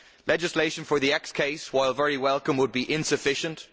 Legislation for the X case, while very welcome, would be insufficient.